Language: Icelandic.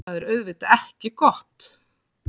Það er auðvitað ekki gott.